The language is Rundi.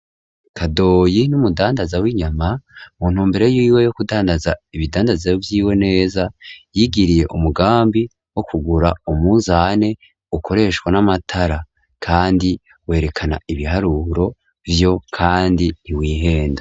Kadoyi n'umudandaza w'inyama mu ntu mbero yiwe yo kudandaza ibidandazwa vyiwe neza yigiriye umugambi wo kugura umuzane ukoreshwa n'amatara kandi werekana ibiharuro vyo kandi ntiwihenda.